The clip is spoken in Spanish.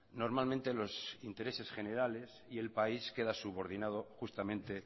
normalmente los intereses generales y el país queda subordinado justamente